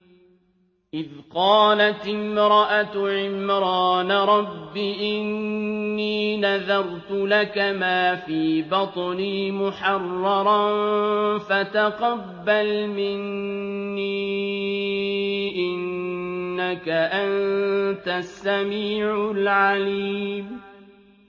إِذْ قَالَتِ امْرَأَتُ عِمْرَانَ رَبِّ إِنِّي نَذَرْتُ لَكَ مَا فِي بَطْنِي مُحَرَّرًا فَتَقَبَّلْ مِنِّي ۖ إِنَّكَ أَنتَ السَّمِيعُ الْعَلِيمُ